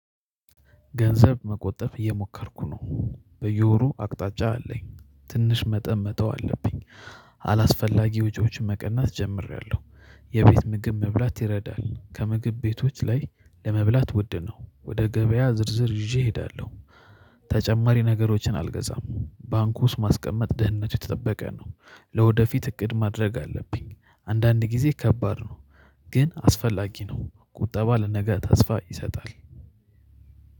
ገንዘብ መቆጠብ እየሞከርኩ ነው። በየወሩ አቅጣጫ አለኝ ትንሽ መጠን መተው አለብኝ። አላስፈላጊ ውጪዎችን መቀነስ ጀምሬያለሁ። የቤት ምግብ መብላት ይረዳል ከምግብ ቤቶች ላይ ለመብላት ውድ ነው ወደ ገበያ ዝርዝር ይዤ እሄዳለሁ። ተጨማሪ ነገሮችን አልገዛም ባንኩ ውስጥ ማስቀመጥ ደህንነቱ የተጠበቀ ነው። ለወደፊት እቅድ ማድረግ አለብኝ። አንዳንድ ጊዜ ከባድ ነው። ግን አስፈላጊ ነው ቁጠባ ለነገ ተስፋ ይሰጣል።